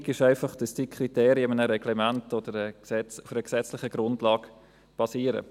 Bedingung ist einfach, dass diese Kriterien in einem Reglement oder auf einer gesetzlichen Grundlage basieren.